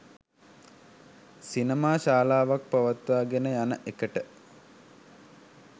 සිනමා ශාලාවක් පවත්වාගෙන යන එකට